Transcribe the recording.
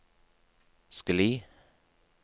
skli